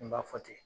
N b'a fɔ ten